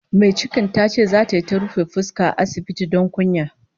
Mai cikin tace zata yi ta ta rufe fuska a asibiti don kunya